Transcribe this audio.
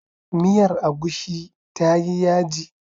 Miyar agushi tayi yaji.